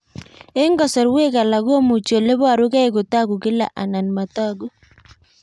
Eng'kasarwek alak komuchi ole parukei kotag'u kila anan matag'u